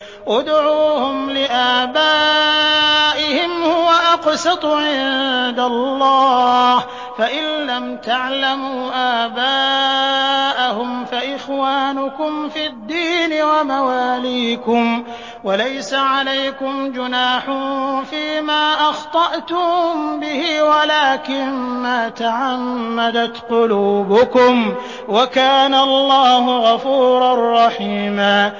ادْعُوهُمْ لِآبَائِهِمْ هُوَ أَقْسَطُ عِندَ اللَّهِ ۚ فَإِن لَّمْ تَعْلَمُوا آبَاءَهُمْ فَإِخْوَانُكُمْ فِي الدِّينِ وَمَوَالِيكُمْ ۚ وَلَيْسَ عَلَيْكُمْ جُنَاحٌ فِيمَا أَخْطَأْتُم بِهِ وَلَٰكِن مَّا تَعَمَّدَتْ قُلُوبُكُمْ ۚ وَكَانَ اللَّهُ غَفُورًا رَّحِيمًا